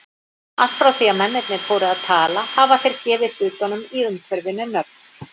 Allt frá því að mennirnir fóru að tala hafa þeir gefið hlutunum í umhverfinu nöfn.